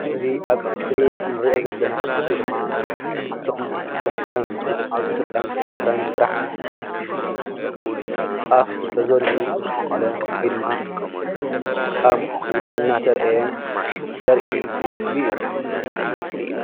እዚ ኣብ እስርክሪን እንሪኦ ዘለና ምስሊ ድማ ካብቶም ብሕታውያን ዝኮኑ ኣብ ኢትዮጰያን ኤርትራን ጥራሕ ዝበቁል ጣፍ ተዘሪኡ ዝበቆለ ወይ ድማ ጣፍ በቁሉ እናተረአየ ዘርኢ ምስሊ እዩ።